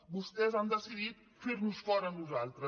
vostès han decidit fer nos fora a nosaltres